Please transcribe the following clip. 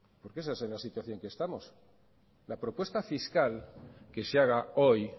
porque esa es en la situación que estamos la propuesta fiscal que se haga hoy